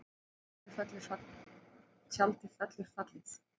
Tjaldið fellur fallið